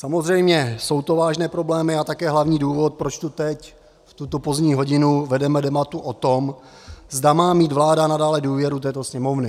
Samozřejmě jsou to vážné problémy a také hlavní důvod, proč tu teď v tuto pozdní hodinu vedeme debatu o tom, zda má mít vláda nadále důvěru této Sněmovny.